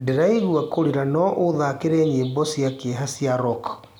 ndĩraigwa kurĩra no uthakire nyĩmbo cĩa kieha cĩa rock